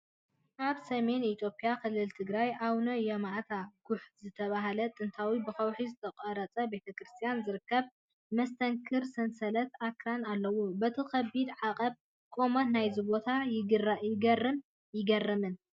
ኣብ ሰሜን ኢትዮጵያ ክልል ትግራይ፡ ኣቡነ ይማኣታ ጉሕ ዝተባህለ ጥንታዊ ብከውሒ ዝተቖርጸ ቤተክርስትያን ዝርከበሉ መስተንክር ሰንሰለት ኣኽራን ኣሎ። በቲ ከቢድ ዓቐብን ቁመትን ናይዚ ቦታ ይግረምን ይግረምን፡፡